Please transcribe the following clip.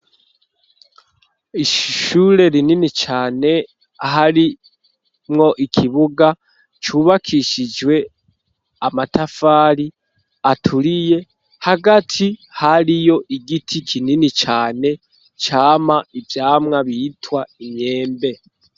Ishure rinini cane harimwo ikibuga cubakishijwe amatafari aturiye hagati hariyo igiti kinini cane camwa ivyamwa bitwa imyembe.